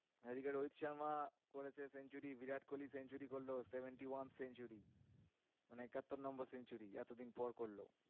এদিকে রোহিত শর্মা করেছে century Virat Kohli century করলো seventy-one century মানে একাত্তর নম্বর century এতদিন পর করলো।